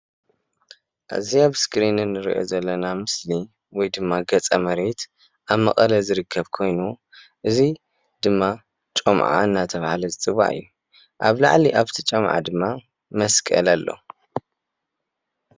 እዚ ኣብስክሪን ንርኦ ዘለና ምስሊ ወይ ድማ ገፀመሬት ኣብ መቐለ ዝርከብ ኮይኑ እዚ ድማ ጮምዓ እናተባህለ ዝጽዋዕ እዩ ኣብ ላዕሊ ኣብቲ ጮምዓ ድማ መስቀል ኣሎ።